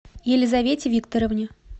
елизавете викторовне